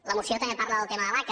la moció també parla del tema de l’aca